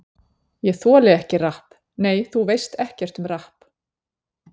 Ég þoli ekki rapp Nei, þú veist ekkert um rapp.